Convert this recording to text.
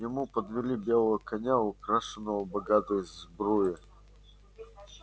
ему подвели белого коня украшенного богатой сбруей